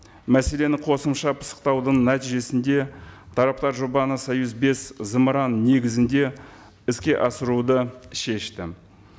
мәселені қосымша пысықтаудың нәтижесінде тараптар жобаны союз бес зымыраны негізінде іске асыруды шешті